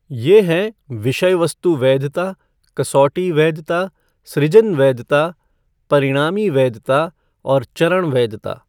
ये हैं विषय वस्तु वैधता, कसौटी वैधता, सॄजन वैधता, परिणामी वैधता और चरण वैधता।